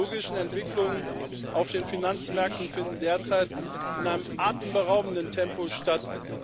Die technologischen Entwicklungen auf den Finanzmärkten finden derzeit in einem atemberaubenden Tempo statt.